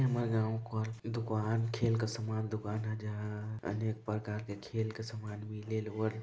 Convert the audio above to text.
ये हमर गाँव कर दुकान खेल का सामान दुकान है जहाँ अनेक प्रकार के खेल सामान मिले और --